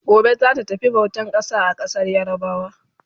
Gobe zata tafi bautan ƙasa a ƙasar yarabawa